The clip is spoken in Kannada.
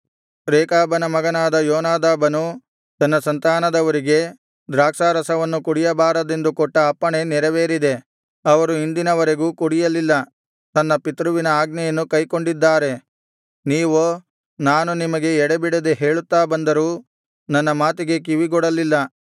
ರೇಕಾಬನ ಮಗನಾದ ಯೋನಾದಾಬನು ತನ್ನ ಸಂತಾನದವರಿಗೆ ದ್ರಾಕ್ಷಾರಸವನ್ನು ಕುಡಿಯಬಾರದೆಂದು ಕೊಟ್ಟ ಅಪ್ಪಣೆ ನೆರವೇರಿದೆ ಅವರು ಇಂದಿನ ವರೆಗೂ ಕುಡಿಯಲಿಲ್ಲ ತಮ್ಮ ಪಿತೃವಿನ ಆಜ್ಞೆಯನ್ನು ಕೈಕೊಂಡಿದ್ದಾರೆ ನೀವೋ ನಾನು ನಿಮಗೆ ಎಡೆಬಿಡದೆ ಹೇಳುತ್ತಾ ಬಂದರೂ ನನ್ನ ಮಾತಿಗೆ ಕಿವಿಗೊಡಲಿಲ್ಲ